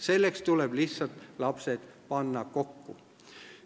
Selleks tuleb lihtsalt panna lapsed kokku.